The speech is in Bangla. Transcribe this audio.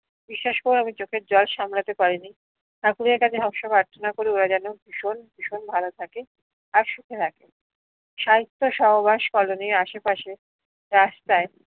বিশ্বাস করো চোখের জল সামলাতে পারি নি ভীষণ ভীষণ ভালো থাকে আর সুখে থাকে সাহিত্য সহবাস কলোনীর আশে পাশে রাস্তায়